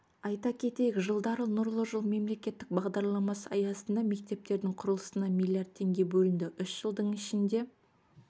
айта кетейік жылдары нұрлы жол мемлекеттік бағдарламасы аясында мектептердің құрылысына миллиард теңге бөлінді үш жылдың ішінде